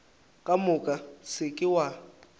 ka moka se ke wa